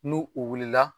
N'u u wulila